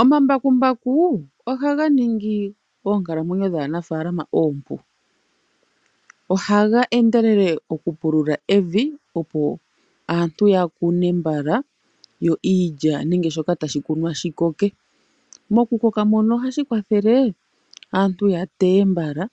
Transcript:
Omambakumbaku ohaga ningi oonkalamwenyo dhaanafalama oompu, ohaga endelelele okupulula evi opo aantu ya kune mbala yo iilya nenge shoka tashi kunwa shikoke. Mokukoka mono ohashi kwathele aantu ya teye mbala